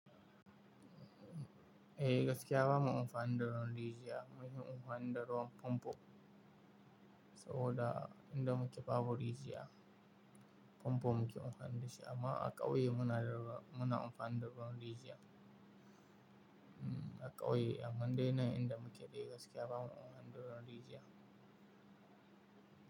Eh gaskiya bamu amfani da ruwan rijiya, munfi amfani da ruwan pompo saboda inda muke babu rijiya. Pompo muke amfani da shi amma a ƙauye muna da ruwa, muna amfani da ruwan rijiya. Mm, a ƙauye a mandai nan inda muke, eh gaskiya ba mu amfani da ruwan rijiya.